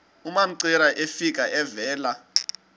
umamcira efika evela